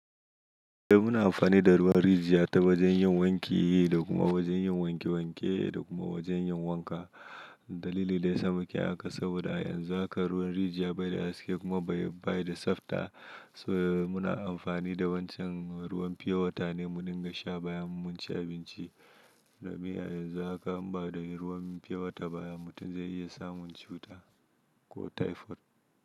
Eh muna amfani da ruwan rijiya ta wajen yin wanki yi da kuma wajen yin wanke wanke da kuma wajen yin wanka. Dalili da yasa mu kayi haka saboda a yanzu haka ruwan rijiya bai da haske kuma bai da tsafta. So muna amfani da wancan ruwan fyewata ne mun dinga sha bayan mun ci abinci. Da miya yanzu haka in ba da ruwan fyewata baya mutum zai iya samun cuta ko typhoid.